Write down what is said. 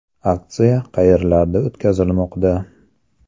Aksiya qayerlarda o‘tkazilmoqda?